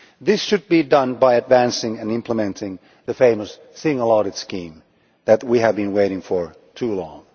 This should be done by advancing and implementing the famous single audit scheme that we have been waiting for too long.